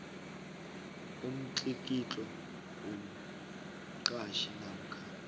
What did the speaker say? umtlikitlo womqhatjhi namkha